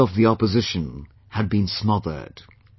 The voice of the opposition had been smothered